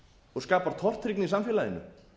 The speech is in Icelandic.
og skapar tortryggni í samfélaginu